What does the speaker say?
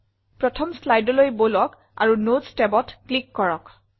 প্ৰথম slideলৈ বলক আৰু নোটছ tabত ক্লিক কৰক